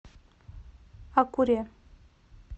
акуре